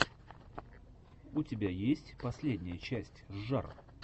у тебя есть последняя часть жжар